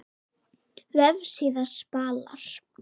Vefsíða Spalar